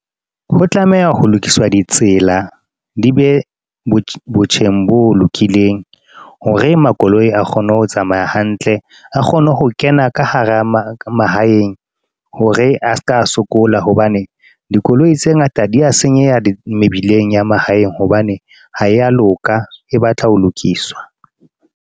Ho tlameha ho lokiswa ditsela di be botjheng bo lokileng hore makoloi a kgone ho tsamaya hantle, a kgone ho kena ka hara mahaeng hore a ska skills, hobane dikoloi tse ngata di a senyeha mebileng ya mahaeng hobane ha ya loka e batla ho lokiswa.